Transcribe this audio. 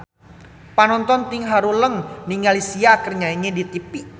Panonton ting haruleng ningali Sia keur nyanyi di tipi